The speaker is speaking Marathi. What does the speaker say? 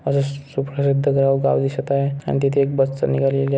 अस सुप्रसिध्द गाव गाव दिसत आहे अन् तिथे तिथे एक बस निघालेली--